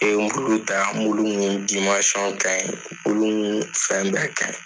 I bɛ min ka ɲi fɛn bɛɛ ka ɲi .